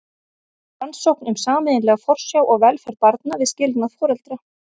Rannsókn um sameiginlega forsjá og velferð barna við skilnað foreldra.